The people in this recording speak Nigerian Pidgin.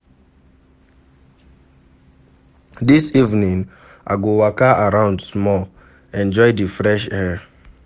Dis evening, I go waka around small, enjoy di fresh air.